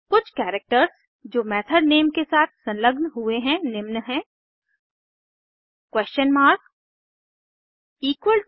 कुछ करैक्टर्स जो method name के साथ संलग्न हुए है निम्न हैं 160